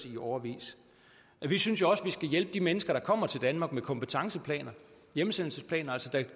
i årevis vi synes også vi skal hjælpe de mennesker der kommer til danmark med kompetenceplaner hjemsendelsesplaner